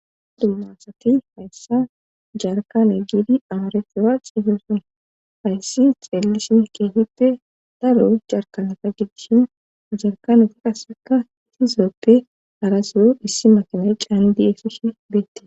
dummasati hayssa jarkane giidi amarefewa xiifesun hayssi xeellisin keehite daro jarkanata geddishin jarkanuta qasseka iti zooppe arasuru issi makine caan di7esishe beette